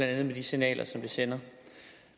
andet med de signaler som det sender